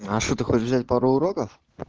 а что ты хочешь взять пару уроков